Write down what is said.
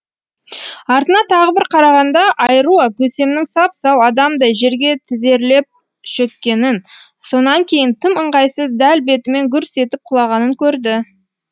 артына тағы бір қарағанда айруа көсемнің сап сау адамдай жерге тізерлеп шөккенін содан кейін тым ыңғайсыз дәл бетімен гүрс етіп құлағанын көрді